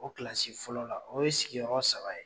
O kilasi fɔlɔ la o ye sigiyɔrɔ saba ye.